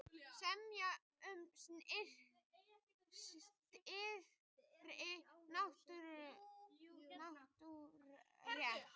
Semja um styttri nýtingarrétt